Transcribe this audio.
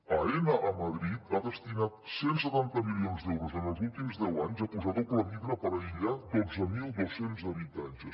aena a madrid ha destinat cent i setanta milions d’euros en els últims deu anys a posar doble vidre per aïllar dotze mil dos cents habitatges